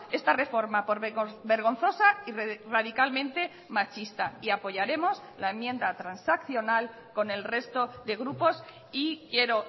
esta reforma por vergonzosa y radicalmente machista y apoyaremos la enmienda transaccional con el resto de grupos y quiero